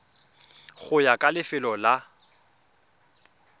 go ya ka lefelo la